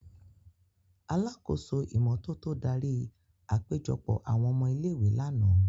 Alakoso imototo dari apejọpọ awọn ọmọ ile-iwe làná.